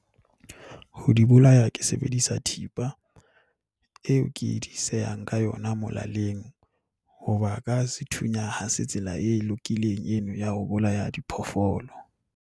Ho di bolaya ke sebedisa thipa eo ke di sehang ka yona molaleng. Hoba ka sethunya ha se tsela e lokileng eno ya ho bolaya diphoofolo.